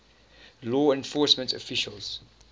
law enforcement officials